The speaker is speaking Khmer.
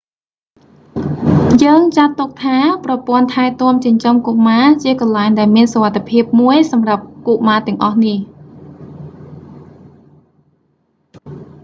យើងចាត់ទុកថា ប្រព័ន្ធថែទាំចិញ្ចឹមកុមារជាកន្លែងដែលមានសុវត្ថិភាពមួយសម្រាប់កុមារទាំងអស់នេះ